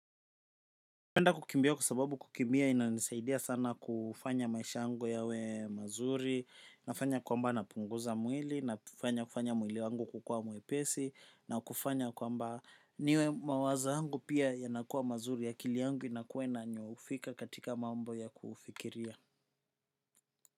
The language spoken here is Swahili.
Napenda kukimbia kwa sababu kukimbia inanisaidia sana kufanya maisha yangu yawe mazuri nafanya kwamba napunguza mwili na kufanya kufanya mwili wangu kukua mwepesi na kufanya kwamba niwe mawazo yangu pia yanakuwa mazuri akili yangu inakuwa inanyoofika katika mambo ya kufikiria.